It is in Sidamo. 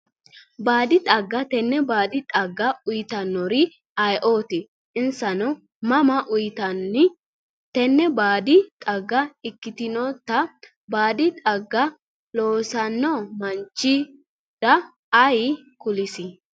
Baadi xagga tene baadi xagga uyitanori ayiooti iseno mama uyinani tene baadi xagga ikitinota baadi xagga loosano manichira ayi kulisi?